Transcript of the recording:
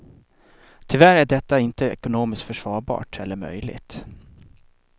Tyvärr är detta inte ekonomiskt försvarbart eller möjligt.